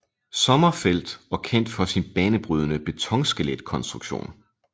Sommerfeldt og kendt for sin banebrydende betonskeletkonstruktion